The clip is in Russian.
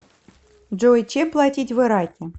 джой чем платить в ираке